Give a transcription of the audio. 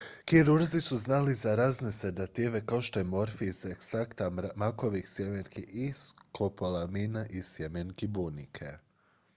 kirurzi su znali za razne sedative kao što je morfij iz ekstrakta makovih sjemenki i skopolamina iz sjemenki bunike